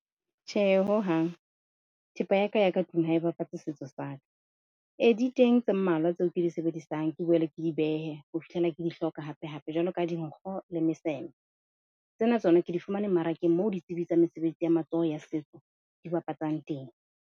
Tjhe, ho hang thepa ya ka ya ka tlung ha e bapatse setso sa ka. E di teng tse mmalwa tseo ke di sebedisang ke boele ke di behe ho fihlela ke di hloka hape hape. Jwalo ka dinkgo le meseme, tsena tsona ke di fumane mara, ke moo ditsebi tsa mesebetsi ya matsoho ya setso di bapatsang teng.